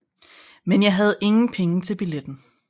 Men jeg hadde ingen Penger til Billetten